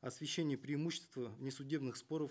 освещению преимущества внесудебных споров